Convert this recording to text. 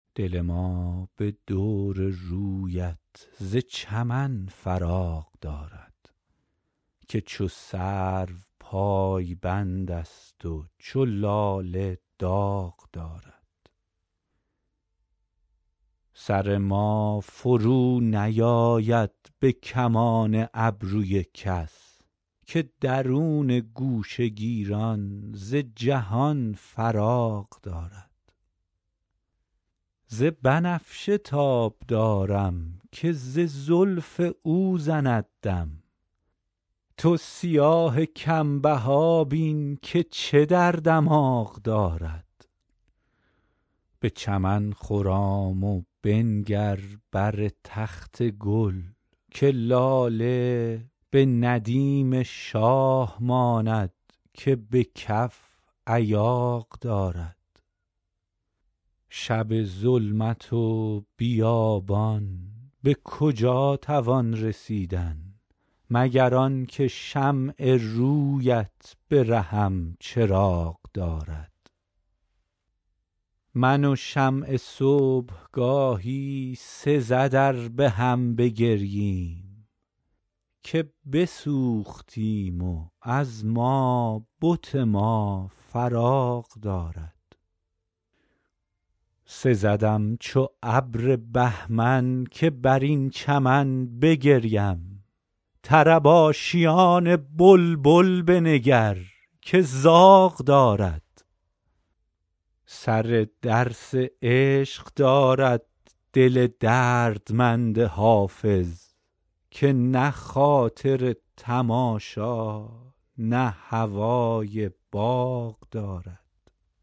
دل ما به دور رویت ز چمن فراغ دارد که چو سرو پایبند است و چو لاله داغ دارد سر ما فرونیآید به کمان ابروی کس که درون گوشه گیران ز جهان فراغ دارد ز بنفشه تاب دارم که ز زلف او زند دم تو سیاه کم بها بین که چه در دماغ دارد به چمن خرام و بنگر بر تخت گل که لاله به ندیم شاه ماند که به کف ایاغ دارد شب ظلمت و بیابان به کجا توان رسیدن مگر آن که شمع روی ات به رهم چراغ دارد من و شمع صبح گاهی سزد ار به هم بگرییم که بسوختیم و از ما بت ما فراغ دارد سزدم چو ابر بهمن که بر این چمن بگریم طرب آشیان بلبل بنگر که زاغ دارد سر درس عشق دارد دل دردمند حافظ که نه خاطر تماشا نه هوای باغ دارد